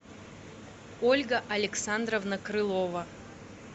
ольга александровна крылова